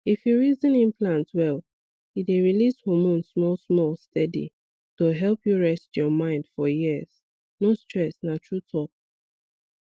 if you reason implant well e dey release hormone smallsmall steady to help you rest your mind for years no stress na true talk